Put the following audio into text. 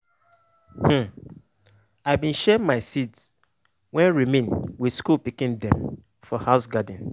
um i bin share my seed wey remain with school pikin dem for house garden.